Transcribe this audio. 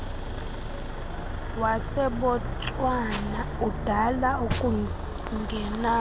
wasebotswana udala ukungenana